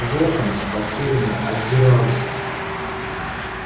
локонс потерянно озирался